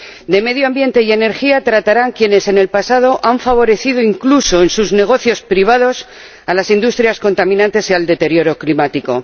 De medio ambiente y energía tratarán quienes en el pasado han favorecido, incluso en sus negocios privados, a las industrias contaminantes y al deterioro climático.